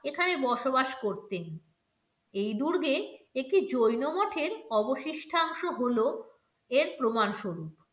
এখানে বসবাস করতেন. এই দুর্গে একটি জৈন মঠের অবশিষ্টাংশ হল এর প্রমাণ স্বরূপ।